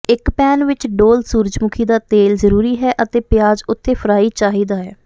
ਇੱਕ ਪੈਨ ਵਿੱਚ ਡੋਲ੍ਹ ਸੂਰਜਮੁਖੀ ਦਾ ਤੇਲ ਜ਼ਰੂਰੀ ਹੈ ਅਤੇ ਪਿਆਜ਼ ਉਥੇ ਫਰਾਈ ਚਾਹੀਦਾ ਹੈ